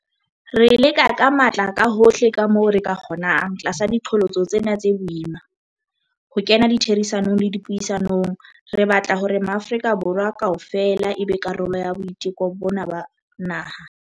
Re leka ka matla kahohle kamoo re ka kgonang tlasa diqholotso tsena tse boima, ho kena ditherisanong le dipuisanong. Re batla hore Maafrika Borwa kaofela e be karolo ya boiteko bona ba naha.